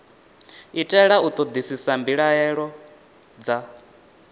itela u ṱoḓisisa mbilaelo dza